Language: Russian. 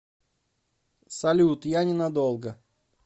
салют я не надолго